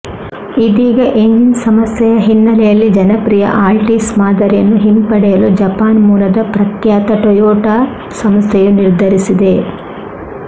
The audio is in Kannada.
ಇದೀಗ ಎಂಜಿನ್ ಸಮಸ್ಯೆಯ ಹಿನ್ನೆಲೆಯಲ್ಲಿ ಜನಪ್ರಿಯ ಆಲ್ಟೀಸ್ ಮಾದರಿಯನ್ನು ಹಿಂಪಡೆಯಲು ಜಪಾನ್ ಮೂಲದ ಪ್ರಖ್ಯಾತ ಟೊಯೊಟಾ ಸಂಸ್ಥೆಯು ನಿರ್ಧರಿಸಿದೆ